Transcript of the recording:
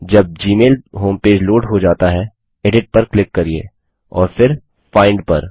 जब Gmail homepage load हो जाता है एडिट पर क्लिक करिये और फिर फाइंड पर